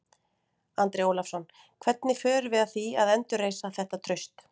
Andri Ólafsson: Hvernig förum við að því að endurreisa þetta traust?